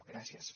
gràcies